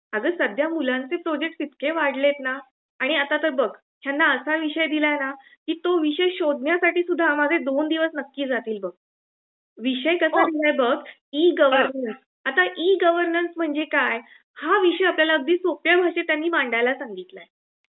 अग सध्या मुलांचे प्रोजेक्ट इतके वाढले आहेत न, आणि आता तर बघ ह्याना असा विषय दिला आहे ना की तो विषय शोधण्यासाठी सुद्धा माझे २ दिवस नक्की जातील बघ. विषय पण कसा आहे बघ ई -गवर्नन्स ,ई -गवर्नन्स म्हणजे काय हा विषय त्यांनी आपल्याला सोप्या भाषेत मांडायला सांगितल आहे.